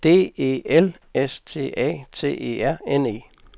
D E L S T A T E R N E